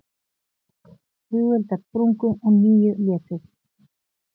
Flugeldar sprungu og níu létust